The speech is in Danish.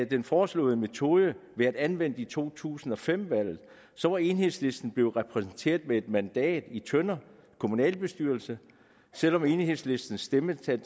den foreslåede metode blevet anvendt ved to tusind og fem valget var enhedslisten blevet repræsenteret med en mandat i tønder kommunalbestyrelse selv om enhedslistens stemmetal